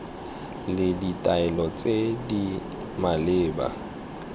le ditaelo tse di maleba